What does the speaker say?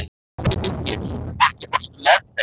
Þengill, ekki fórstu með þeim?